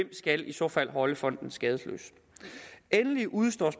skal i så fald holde fonden skadesløs endelig udestår